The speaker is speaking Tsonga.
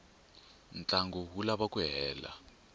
ntlangu wu lava ku hela